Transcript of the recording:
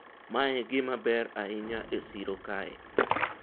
mae e gima ber ahinya e siro kae